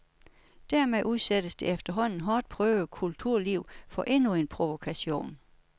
Dermed udsættes det efterhånden hårdt prøvede kulturliv for endnu en provokation.